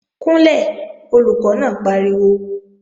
Kúnlẹ̀, Olùkọ́ náà pariwo!